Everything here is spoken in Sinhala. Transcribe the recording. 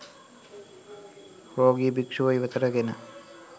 රෝගී භික්ෂුව ඉවතට ගෙන